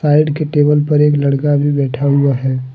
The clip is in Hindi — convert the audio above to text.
साइड के टेबल पर एक लड़का भी बैठा हुआ है।